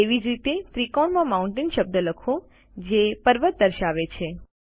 તેવી જ રીતે ત્રિકોણમાં માઉન્ટેન શબ્દ લખો જે પર્વત દર્શાવે છે